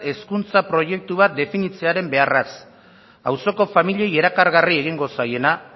hezkuntza proiektu bat definitzearen beharraz auzoko familiei erakargarri egingo zaiena